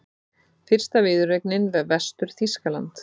Fyrsta viðureignin við Vestur-Þýskaland